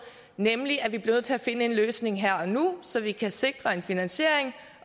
nemlig at vi bliver nødt til at finde en løsning her og nu så vi kan sikre en finansiering